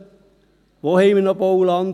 Wo haben wir noch Bauland?